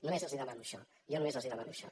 només els demano això jo només els demano això